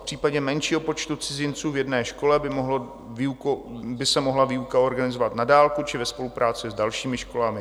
V případě menšího počtu cizinců v jedné škole by se mohla výuka organizovat na dálku či ve spolupráci s dalšími školami.